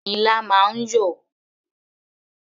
Ilá máa ń yọ̀.